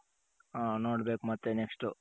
ನೋಡ್ಬೇಕು ಮತ್ತೆ next